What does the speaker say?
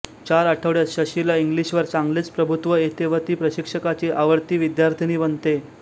चार आठवड्यात शशीला इंग्लिशवर चांगलेच प्रभुत्व येते व ती प्रशिक्षकाची आवडती विद्यार्थिनी बनते